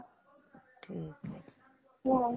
हो